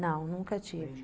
Não, nunca tive.